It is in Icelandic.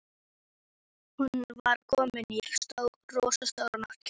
Hún var komin í rósóttan náttkjól.